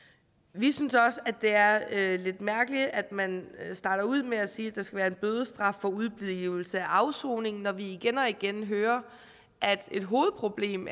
vi synes også at det er lidt mærkeligt at man starter ud med at sige at der skal være en bødestraf for udeblivelse fra afsoning når vi igen og igen hører at et hovedproblem